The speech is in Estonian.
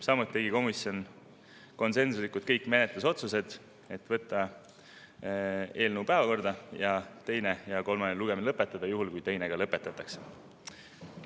Samuti tegi komisjon konsensuslikult kõik menetlusotsused: võtta eelnõu päevakorda ja kolmas lugemine lõpetada, juhul kui teine lõpetatud.